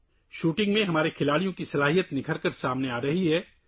shooting میں ہمارے کھلاڑیوں کا ٹیلنٹ سامنے آرہا ہے